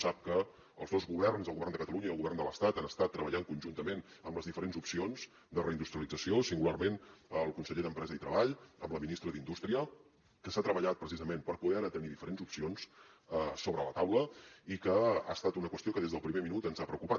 sap que els dos governs el govern de catalunya i el govern de l’estat han estat treballant conjuntament amb les diferents opcions de reindustrialització singularment el conseller d’empresa i treball amb la ministra d’indústria que s’ha treballat precisament per poder ara tenir diferents opcions sobre la taula i que ha estat una qüestió que des del primer minut ens ha preocupat